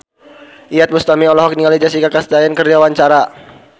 Iyeth Bustami olohok ningali Jessica Chastain keur diwawancara